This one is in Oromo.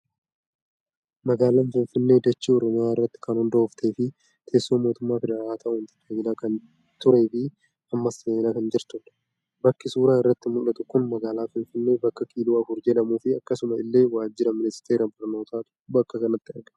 Magaalaan Finfinnee dachee Oromiyaa irratti kan hundooftee fi teessoo mootummaa federaalaa ta'uun tajaajilaa kan turee fi ammas tajaajilaa kan jirudha. Bakki suuraa irratti mul'atu kun magaalaa Finfinnee bakka kiiloo 4 jedhamuu fi akkasuma illee waajjira ministeera barnootaatu bakka kanatti argama.